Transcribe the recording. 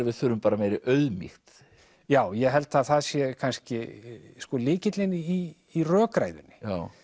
við þurfum bara meiri auðmýkt já ég held að það sé kannski sko lykillinn í rökræðunni